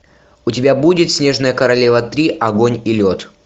у тебя будет снежная королева три огонь и лед